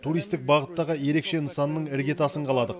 туристік бағыттағы ерекше нысанның іргетасын қаладық